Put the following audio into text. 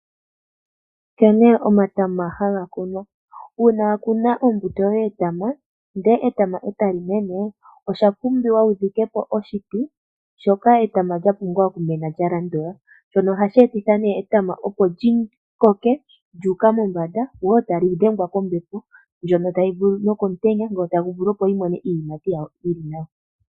Nkene omatama haga kunwa. Uuna wa kuna ombuto yoye yetama, ndele etama etali mene, owa pumwba wu dhike po oshiti shoka etama lya pumbwa oku mena lya landula. Shono ohashi etitha nee etama opo li koke lya uka mombanda, lyo tali dhengwa woo kombepo nokomutenya opo lyi tuleko iiyimati yalyo yili nawa.